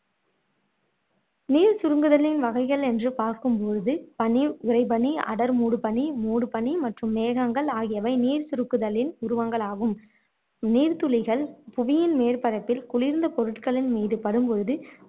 நீர் சுருங்குதலின் வகைகள் எனறு பார்க்கும் பொழுது பனி, உறைபனி, அடர் மூடு பனி மற்றும் மேகங்கள் ஆகியவை நீர் சுருக்குதலின் உருவங்களாகும் நீர் துளிகள் புவியின் மேற்பரப்பில் குளிர்ந்த பொருட்களின் மீது படும்பொழுது